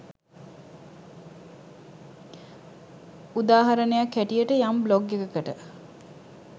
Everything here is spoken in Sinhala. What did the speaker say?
උදාහරණයක් හැටියට යම් බ්ලොග් එකකට